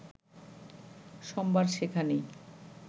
সোমবার সেখানেই